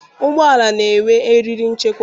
Ụgbọala na-enwe eriri nchekwa.